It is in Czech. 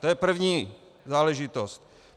To je první záležitost.